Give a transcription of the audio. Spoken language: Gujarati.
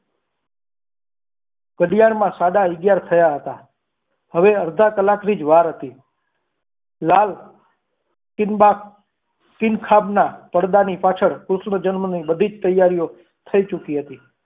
ઘડિયાળમાં સાડા અગિયાર થયા હતા હવે અડધા કલાકની જ વાર હતી લાલ ટીંબા ખ સીંગ ખાધના પડદા ની પાછળ કૃષ્ણ જન્મનો બધી જ તૈયારીઓ થઈ ચૂકી હતી.